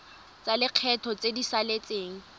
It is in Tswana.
tsa lekgetho tse di saletseng